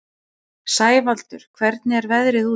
Sævaldur, hvernig er veðrið úti?